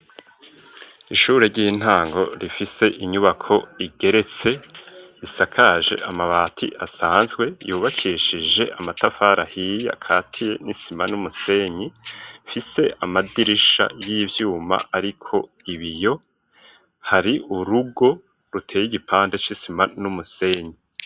Ishure ry'intango, rifise inyubako igeretse, isakaje amabati, asanzwe; yubakishije amatafari ahiye, akatiye n'isima, n'umusenyi; ifise amadirisha y'ivyuma, ariko ibiyo; hari urugo, ruteye igipande, c'isima n'umusenyi.